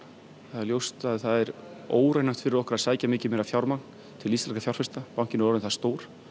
það er ljóst að það er óraunhæft fyrir okkur að sækja mikið meira fjármagn til íslenskra fjárfesta bankinn er orðinn það stór